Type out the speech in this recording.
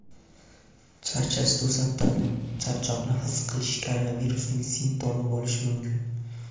Charchash To‘satdan charchoqni his qilish koronavirusning simptomi bo‘lishi mumkin.